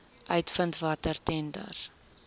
uitvind watter tenders